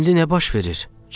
İndi nə baş verir?